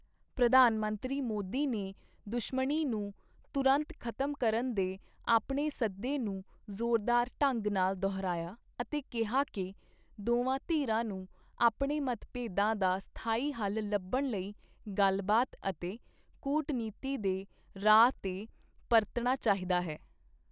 ਪ੍ਰਧਾਨ ਮੰਤਰੀ ਮੋਦੀ ਨੇ ਦੁਸ਼ਮਣੀ ਨੂੰ ਤੁਰੰਤ ਖ਼ਤਮ ਕਰਨ ਦੇ ਆਪਣੇ ਸੱਦੇ ਨੂੰ ਜ਼ੋਰਦਾਰ ਢੰਗ ਨਾਲ ਦੁਹਰਾਇਆ ਅਤੇ ਕਿਹਾ ਕਿ ਦੋਵਾਂ ਧਿਰਾਂ ਨੂੰ ਆਪਣੇ ਮਤਭੇਦਾਂ ਦਾ ਸਥਾਈ ਹੱਲ ਲੱਭਣ ਲਈ ਗੱਲਬਾਤ ਅਤੇ ਕੂਟਨੀਤੀ ਦੇ ਰਾਹ ਤੇ ਪਰਤਣਾ ਚਾਹੀਦਾ ਹੈ।